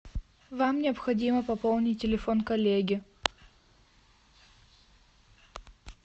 вам необходимо пополнить телефон коллеги